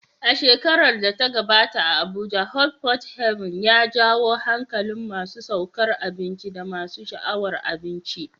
A shekarar da ta gabata, a Abuja, Hot Pot Haven ya jawo hankalin masu sukar abinci da masu sha'awar abinci.